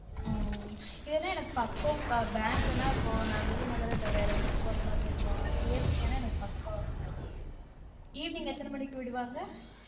உம் இதுனா எனக்கு பக்கம் கா bank னா இப்ப விருதுநகர்இல்ல வேற ஊருக்கு போற மாதிரி இருக்கும் APK நா எனக்கு பக்கம் evening எத்தன மணிக்கு விடுவாங்க